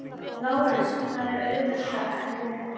LÁRUS: Það var auðveldara en ég hélt.